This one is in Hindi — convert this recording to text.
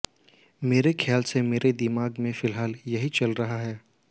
मेरे ख्याल से मेरे दिमाग में फिलहाल यही चल रहा है